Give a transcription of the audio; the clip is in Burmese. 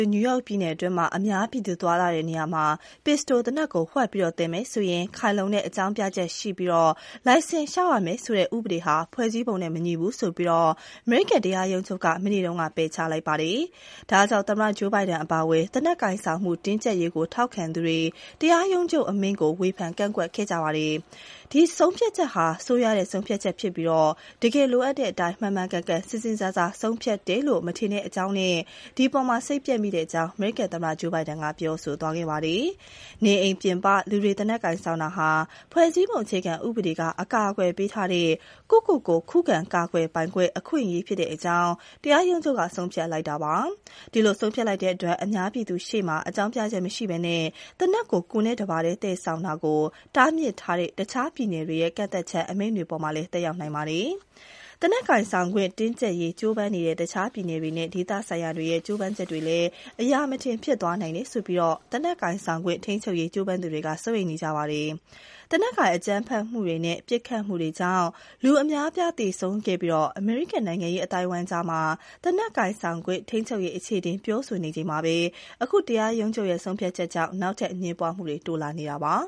ု နယူးယောက်ပြည်နယ်အတွင်း အပြင်မှာ pistol သေနတ်ကို ဖုံးပြီး သွယ်ခွင့်ရှိမယ်ဆိုရင် ခိုင်လုံတဲ့ အကြောင်းပြချက် ရှိရမယ်၊ လိုင်စင်လျှောက်ရမယ်ဆိုတဲ့ ဥပဒေဟာ ဖွဲ့စည်းပုံနဲ့ မညီဘူးဆိုပြီး အမေရိကန် တရားရုံးချုပ် မနေ့က ပယ်ချလိုက်ပါတယ်။ ဒါကြောင့် သမ္မတ Joe Biden အပါအဝင် သေနတ်ကိုင်ဆောင်မှု တင်းကြပ်ရေး ထောက်ခံသူတွေ တရားရုံးချုပ်အမိန့်ကို ဝေဖန်ကန့်ကွက်ကြပါတယ်။ “ဒီဆုံးဖြတ်ချက်က ဆိုးဝါးတဲ့ ဆုံးဖြတ်ချက်ပါ။ တကယ်လိုအပ်တဲ့အတိုင်း မှန်မှန် ကန်ကန် စဉ်းစားစားဆုံးဖြတ်တယ်လို့ ကျနော် မထင်ပါဘူး။ ဒီအပေါ် စိတ်ပျက်မိပါတယ်” လို့ အမေရိကန် သမ္မတ Joe Biden ပြောပါတယ်။ နေအိမ်ပြင်ပ လူတွေ သေနတ်ကိုင်ဆောင်တာဟာ ဖွဲ့စည်းပုံ အခြေခံဥပဒေက အကာအကွယ် ပေးထားတဲ့ ကိုယ့်ကိုကိုယ် ခုခံကာကွယ်ပိုင်ခွင့် အခွင့်အရေး ဖြစ်တဲအ့ကြောင်းတရားရုံးချုပ်က ဆုံးဖြတ်လိုက်တာပါ။ ဒီလို ဆုံးဖြတ်လိုက်တဲ့အတွက် အများပြည်သူရှေ့မှာ အကြောင်းပြချက်မရှိဘဲ သေနတ်ကို ကိုယ်နဲ့တပါတည်းသယ်ဆောင်တာကို တားမြစ်ထားတဲ့ တခြားပြည်နယ်တွေရဲ့ ကန့်သတ်ချက် အမိန့်တွေအပေါ်မှာလည်း သက်ရောက်နိုင်ပါတယ်။ သေနတ်ကိုင်ဆောင်ခွင့်တင်းကြပ်ရေး ကြိုးပမ်းနေတဲ့ တခြား ပြည်နယ်တွေနဲ့ ဒေသဆိုင်ရာတွေရဲ့ ကြိုးပမ်းချက်တွေလည်း အရာမထင်ဖြစ်သွားနိုင်ပါတယ်ဆိုပြီး သေနတ်ကိုင်ဆောင်ခွင့် ထိန်းချုပ်ရေး ကြိုးပမ်းသူတွေ စိုးရိမ်နေကြပါတယ်။ သေနတ်ကိုင် အကြမ်းဖက်မှုတွေနဲ့ ပစ်ခတ်မှုတွေကြောင့် လူအများအပြားသေဆုံးခဲ့ပြီး အမေရိကန်နိုင်ငံရေးအသိုင်းအဝိုင်းအကြား သေနတ် ကိုင်ဆောင်ခွင့် ထိန်းချုပ်ရေး အခြေအတင် ပြောဆိုနေချိန်မှာပဲ အခု တရားရုံးချုပ်ရဲ့ ဆုံးဖြတ်ချက်ကြောင့် နောက်ထပ် အငြင်းပွားမှုတွေ တိုးလာနေပါ